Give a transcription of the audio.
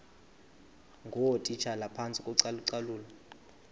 ngootitshala phantsi kocalucalulo